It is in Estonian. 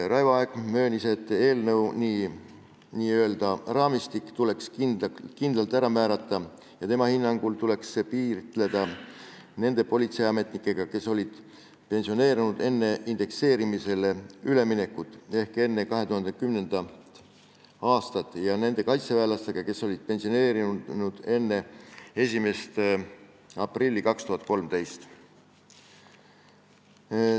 Raivo Aeg möönis, et eelnõu n-ö raamistik tuleks kindlalt ära määrata ja tema hinnangul tuleks see piiritleda nende politseiametnikega, kes olid pensioneerunud enne indekseerimisele üleminekut ehk enne 2010. aastat, ja nende kaitseväelastega, kes pensioneerusid enne 1. aprilli 2013.